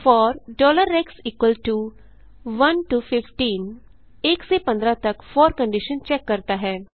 four x 1 to 15 1 से 15 तक four condition check करता है